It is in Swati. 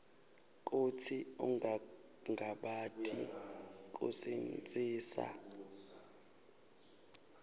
kutsi ungangabati kusitsintsa